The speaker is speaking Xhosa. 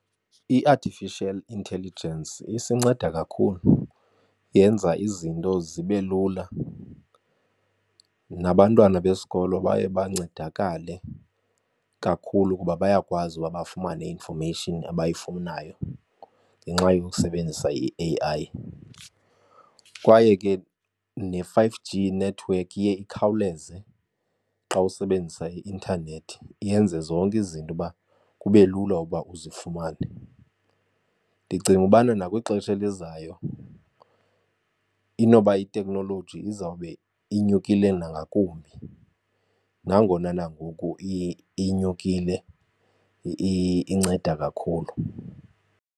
I-artificial intelligence isinceda kakhulu, yenza izinto zibe lula nabantwana besikolo baye bancedakale kakhulu kuba bayakwazi ukuba bafumane i-information abayifunayo ngenxa yokusebenzisa i-A_I. Kwaye ke ne-five G network iye ikhawuleze xa usebenzisa i-intanethi, yenze zonke izinto ukuba kube lula ukuba uzifumane. Ndicinga ukubana nakwixesha elizayo inoba iteknoloji izawube inyukile nangakumbi nangona nangoku inyukile inceda kakhulu.